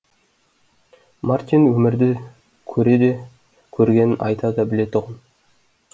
мартин өмірді көре де көргенін айта да білетұғын